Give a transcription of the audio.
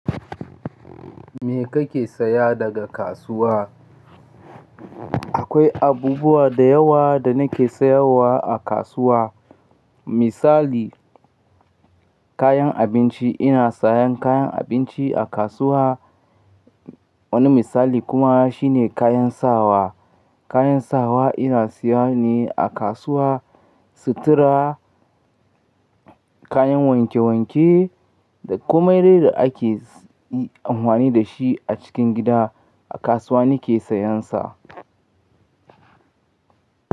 Me kake saya daga kasuwa? Akwai abubuwa da yawa da nake sayarwa a kasuwa. Misali, kayan abinci ina sayan kayan abinci a kasuwa. Wani misali kuma shine kayan sawa. Kayan sawa ina siya ne a kasuwa. Sutura, kayan wanke-wanke da kuma irin da ake amfani da shi a cikin gida, a kasuwa nake sayan sa.